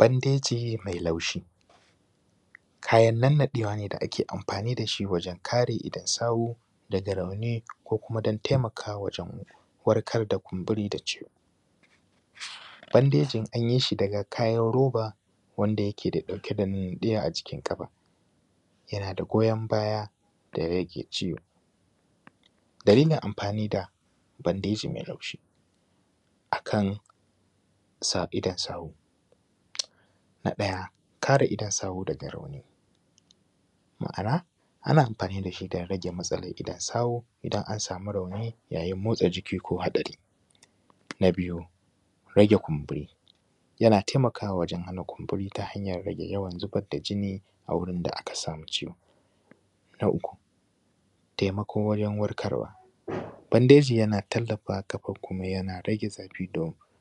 Bandeji mai laushi, kayan nannaɗewa ne da ake amfani da shi wajen kare idon sawu daga rauni ko kuma don taimakawa wajen warkar da kumburi da ciwo, bandejin an yi shi daga kayan roba wanda yakeɗauke da nannaɗiya a jikin kafa, yana da goyon baya da rage ciwo. Dalilin amfani da bandeji mai laushi akan idon sawu. Na ɗaya, kare idon sawu daga rauni, ma’ana ana amfani da shi don rage matsalar idon sawu idan an sami rauni yayin motsa jiki ko hatsari. Na biyu, rage kumburi: yana taimakawa wajen rage kumburi ta hanyan yawan zubar da jinni a wurin da aka sami ciwo, taimako wurin warkarwa: bandeji yana tallafawa kafa kuma yana rage zafi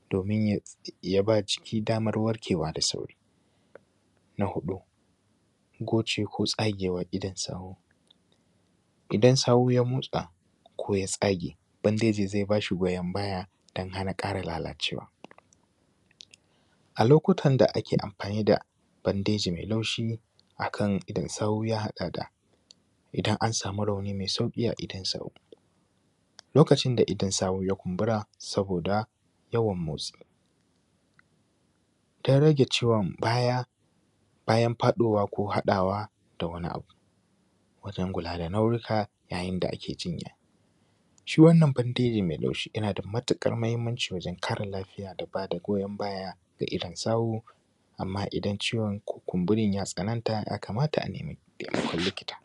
domin ya ba ciki daman warkewa da sauri. Na huɗu, gocewa ko tsagewar idon sawu: idan sawu ya motsa ko ya tsage bandeji zai ba shi goyon baya don hana karaya, lalacewa, a lokutan da ake amfani da bandeji mai laushi akan idonsawu ya haɗa da, idan an sami rauni mai sauki a idon sawo lokacin da idon sawu ya kumbura. Saboda yawan motsi, don rage ciwon bayan faɗowa ko haɗawa da wani abu wajen kula da nauyinka yayin da ake jinya. Shi wannan bandeji mai laushi yana da matukar mahimmanci wajen kare lafiya da ba da goyon baya ga idon sawu, amma idan kumburin ya tsananta ya kamata a nemi likita.